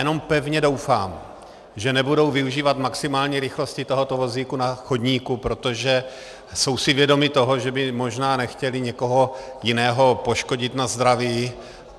Jenom pevně doufám, že nebudou využívat maximální rychlosti tohoto vozíku na chodníku, protože jsou si vědomi toho, že by možná nechtěli někoho jiného poškodit na zdraví.